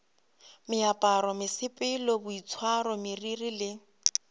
meaparo mesepelo boitshwaro meriri le